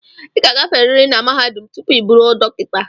ị ga-agaferiri na mahadum tupu ị bụrụ dọkịta